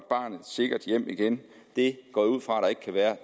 bragt sikkert hjem igen det går jeg ud fra der ikke kan være